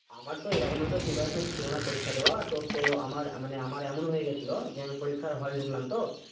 আমার তো এরকম এতে preparation ছিলনা পরীক্ষা দেওয়ার তো তো আমার মানে আমার এমন হয়ে গেছিলো যে আমি পরীক্ষার হল ঢুকলাম তো